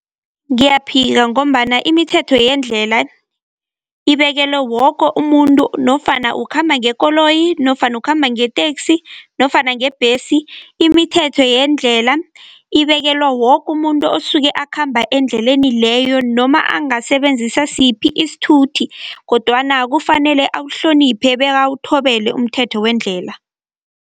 Ngiyaphika ngombana imithetho yendlela, ibekelwe woke umuntu nofana ukukhamba ngekoloyi, nofana ukhamba ngeteksi, nofana ngebhesi. Imithetho yendlela, ibekelwe wokumuntu osuke akhamba endleleni leyo, noma angasebenzisa siphi isithuthi kodwana kufanele awuhloniphe bekawuthobele umthetho wendlela.